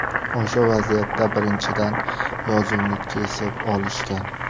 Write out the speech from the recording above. O‘sha vaziyatda, birinchidan, yozuvni kesib olishgan.